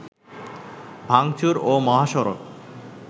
ভাঙচুর ও মহাসড়ক